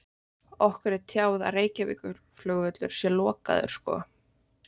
Okkur er tjáð að Reykjavíkurflugvöllur sé lokaður sko.